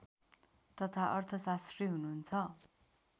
तथा अर्थशास्त्री हुनुहुन्छ